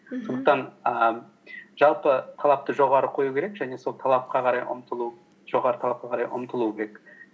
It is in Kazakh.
мхм сондықтан ііі жалпы талапты жоғары қою керек және сол жоғары талапқа қарай ұмтылу керек